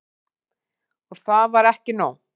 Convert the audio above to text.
Og það var ekki nóg.